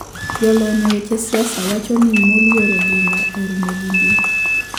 Jolony e weche siasa wacho ni mouluor oginga orumo gi mbii